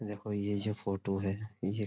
देखो ये जो फोटो है ये --